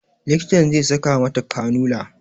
Likitan zai saka mata kanula